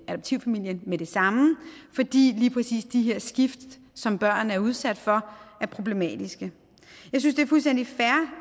adoptivfamilien med det samme fordi lige præcis de her skift som børn er udsat for er problematiske jeg synes det